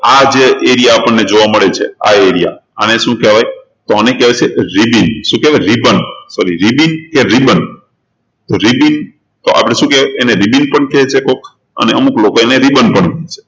આ જે area આપણને જોવા મળે છે આ area આને શું કહેવાય તો અને કહેવાય છે ribbon કે ribbonsorryribbonribbonribbon તો આપણે શું કહેવાય એને ribbon પણ કહે છે કોક અને અમુક લોકો એને ribbon પણ